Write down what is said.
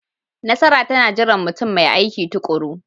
Nasara tana jiran mutum mai aiki tuƙuru.